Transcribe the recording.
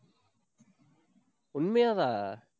உண்மையாவா?